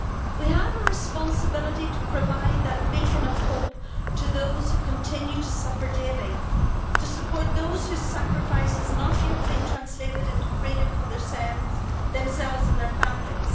We have a responsibility to provide a beacon of hope to those who continue to suffer daily to support those whose sacrifice has not yet been translated into freedom for themselves and their families.